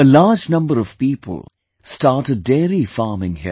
A large number of people started dairy farming here